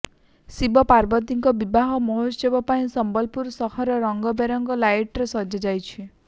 ଶିବ ପାର୍ବତୀଙ୍କ ବିବାହ ମହୋତ୍ସବ ପାଇଁ ସମ୍ବଲପୁର ସହର ରଙ୍ଗବେରଙ୍ଗ ଲାଇଟରେ ସଜା ଯାଇଛି